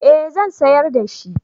eh zan sayar da shi